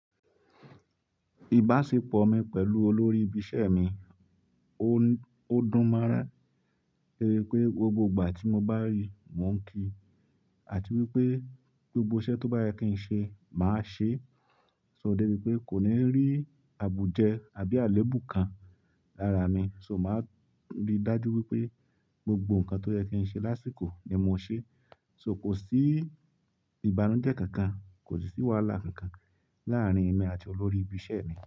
Ìbáṣepọ̀ mi pẹ̀lú olórí ibi iṣẹ́ mi, ó dùn mọ́ ran. To ṣe pé gbogbo ìgbà tí mo bá rí i, mò ń kí i, àti wípé gbogbo iṣẹ́ tó bá yẹ kí ń ṣe, màá ṣe. So débi pé kò ní rí àbùjẹ́ àbí àléébù kan lára mi. So màá rí i dájú wípé gbogbo nǹkan tó yẹ kí ń ṣe lásìkò ni mò ṣe. So kò sí ìbànújẹ́ kankan, kò sí wàhálà kankan láàrín èmi àti olórí ibi iṣẹ́ mi.